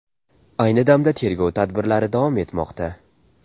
Ayni damda tergov tadbirlari davom etmoqda.